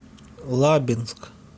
лабинск